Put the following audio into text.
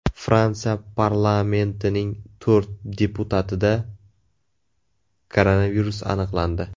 Fransiya parlamentining to‘rt deputatida koronavirus aniqlandi.